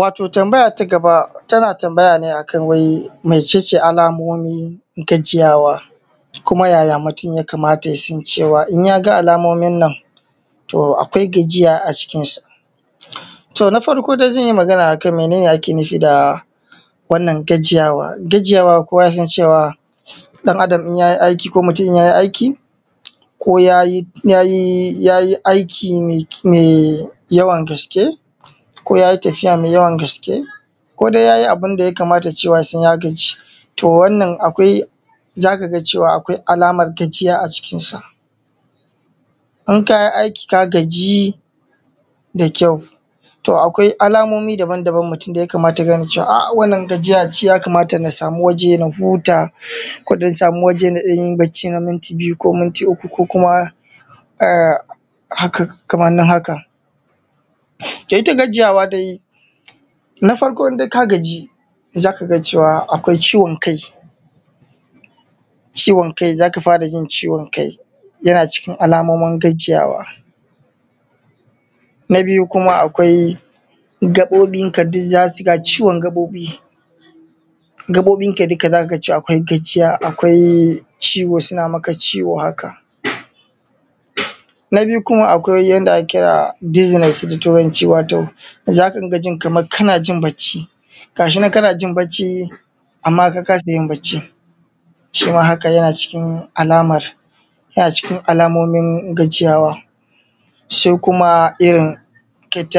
Wato tambaya ta gaba tana tambaya ne wai mece ce alamomi gajiyawa kuma yaya mutum ya kamata ya san cewa in ya ga alamomin nan to akwai gajiya a jikinsa. Na farko dai zan yi magana ne a kan me ake nufi da gajiyawa? Gajiyawa kowa yasan ɗan Adam in ya yi aiki ko mutum in ya yi aiki ko ya yi aiki mao yawan gaske ko ya yi tafiya mai yawan gaske ko ya yi abun da ya kamata yasan ya gaji, za ka ga cewa akwai alamar gajiya a jikinsa in ka yi aiki ka gaji da ƙyau. Akwai alamomin da ya kamata ka gane wannan gajiya ya kamata na sam waje na huta ko na sama waje na ɗan yi bacci na minti biyu ko uku kamar haka. Ita dai gajiya dai, na farko in ka gaji za ka ga akwai ciwon kai za ka fara yin ciwon kai yana cikin alamomin gajiya. Na biyu akwai ciwon gaɓoɓi, gaɓoɓinka duk za ka ga akwai gajiya suna maka ciwo haka. Na biyu akwai abun da ake kira dizziness da ake kira da turanci, za ka rika jin kamar kana jin bacci ga shi na kana jin bacci amma ka kasa yin baccin. Shi ma yana cikin alamomin gajiya. Sai kuma ka ji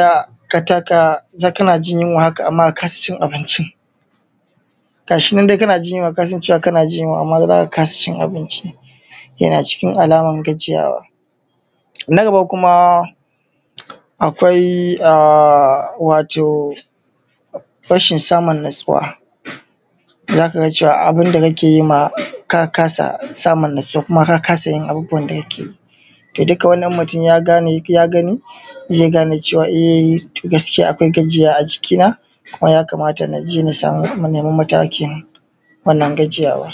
kamar kana ji yunwa haka ka kasa abincin, yana cikin alamar gajiyawa. Na gaba kuma akwai wato rasin samun natsuwa, za ka cewa abun da kake yi ma ka kasa samun natsuwa kuma ka kasa yin abubuwan da duk wani mutum ya gane, zai gane gaskiya akwai gajiyawa a jikina kuma ya kamata na je na nema mataki na wannan gajiyawa.